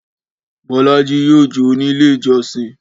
Bọ́lájí yóò jó ní Ilé-ìjọsìn.